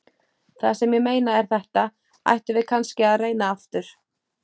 Það sem ég meina er þetta: Ættum við kannski að reyna aftur?